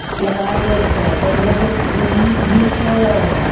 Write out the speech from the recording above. लगाय देयल छय पुलिस भी छय |